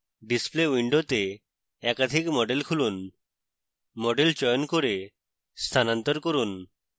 display window একাধিক model খুলুন model চয়ন করে স্থানান্তর করুন